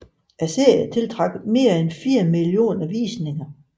Serien tiltrak mere end fire millioner visninger